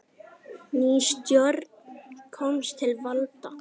Ný stjórn komst til valda.